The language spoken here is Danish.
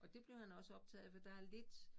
Og det blev han også optaget af fordi der er lidt